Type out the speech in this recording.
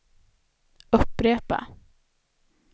upprepa